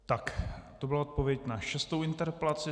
Tak, to byla odpověď na šestou interpelaci.